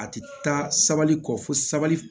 A ti taa sabali kɔ fo sabali